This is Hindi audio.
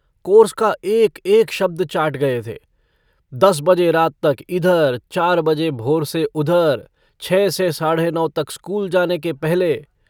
कोर्स का एकएक शब्द चाट गये थे दस बजे रात तक इधर चार बजे भोर से उधर छः से साढ़े नौ तक स्कूल जाने के पहले।